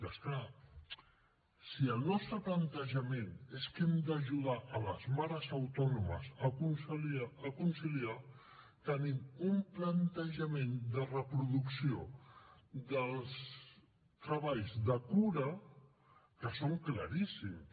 i és clar si el nostre plantejament és que hem d’ajudar les mares autònomes a conciliar tenim un plantejament de reproducció dels treballs de cura que són claríssims